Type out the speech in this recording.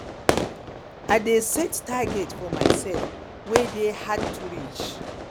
i dey set target for myself wey dey hard to reach